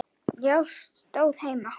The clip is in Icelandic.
Já, stóð heima!